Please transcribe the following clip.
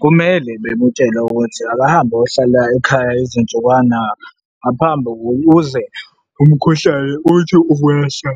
Kumele bemutshele ukuthi akahambe ayohlala ekhaya izinsukwana ngaphambi, ukuze umkhuhlane uthi ukwehla,